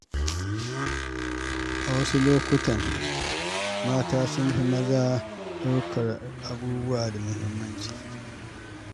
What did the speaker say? A wasu lokutan mata sun fi maza ɗaukar abubuwa da muhimmanci.